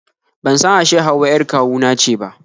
Ban san ashe Hauwa 'yar kawu na ce ba